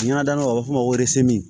Ɲagadamu a bɛ f'o ma ko